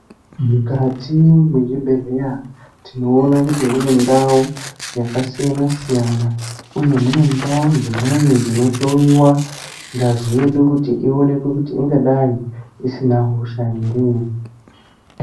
Mukati mezvibhedhlera tinoona kuti mune ndau yakasiyana-siyana, uye mune ndau dzimweni dzinohloyiwa ngazi yedu, kuti ionekwe kuti ingadai isina hosha here.